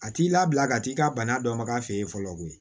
A t'i labila ka t'i ka bana dɔ ma k'a fɛ ye fɔlɔ koyi